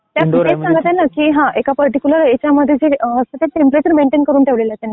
Indoor आहे म्हणजे . तर मी तेच सांगत आहे की एका पार्टीकूलर याच्यामध्ये. टेंपरेचर मेंटेन करून ठेवलं आहे त्यांनी तापमान.